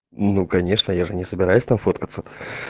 ну конечно я же не собираюсь там фоткаться